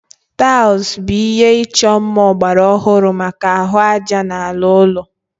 Taịlị bụ ihé ịchọ mma ọgbara ọhụrụ maka ahụ ájá na ala ụlọ